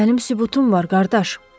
Ah, mənim sübutum var, qardaş.